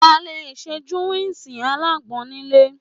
À lé sẹ Júwùsi àlàgbon nìlé.